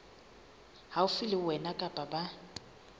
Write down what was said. haufi le wena kapa ba